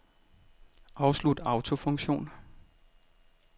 Afslut autofunktion.